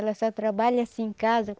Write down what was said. Ela só trabalha assim em casa.